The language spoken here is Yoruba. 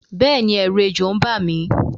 Béèni èrù ejò n ba mi